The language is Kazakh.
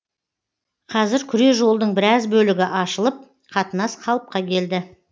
қазір күре жолдың біраз бөлігі ашылып қатынас қалыпқа келді